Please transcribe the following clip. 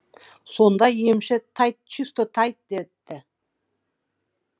сонда емші тайд чисто тайд детті